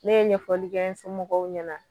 Ne ɲɛfɔli kɛ n somɔgɔw ɲɛna